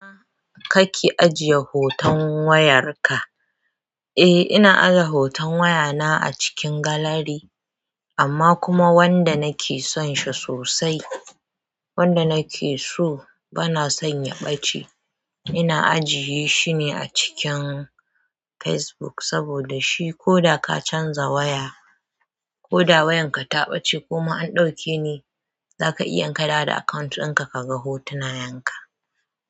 Ina kake ajiye hoton wayarka? Eh, ina aje hoton wayana a cikin gallery, amma kuma wanda nake son shi sosai, wanda nake so bana son ya ɓace. Ina ajiye shi ne a cikin Facebook saboda shi ko da ka canza waya, ko da wayarka ta ɓace ko ma an ɗauke ne, zaka iya in ka dawo da akawunt ɗinka ka ga hotunayen ka.